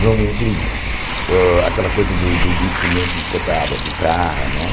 Normalmente, uh aquela coisa do do instrumento importado, a guitarra, né?